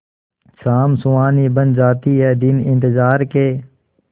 शाम सुहानी बन जाते हैं दिन इंतजार के